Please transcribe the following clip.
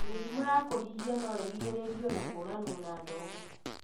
Mĩrimũ ya kũhihia no ĩrigĩrĩrio na kũranwo na ndogo.